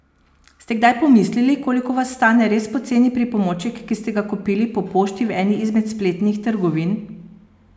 Ste kdaj pomislili, koliko vas stane res poceni pripomoček, ki ste ga kupili po pošti v eni izmed spletnih trgovin?